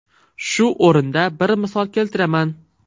Shu o‘rinda bir misol keltiraman.